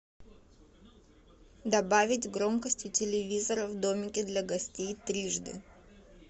добавить громкость у телевизора в домике для гостей трижды